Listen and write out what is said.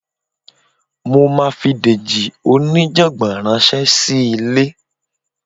Mo máa fi Dèjì oníjàngbọ̀n ránṣẹ́ sí ilé